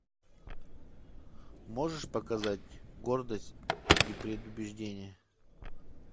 можешь показать гордость и предубеждение